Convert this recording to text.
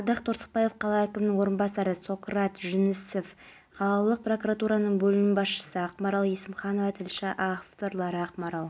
сонымен қатар елбасы жаһандық тұрақсыздық жағдайында билік өкілдері полицияға деген сенім ерекше маңызға ие болып отырғанына